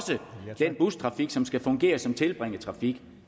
til den bustrafik som skal fungere som tilbringertrafik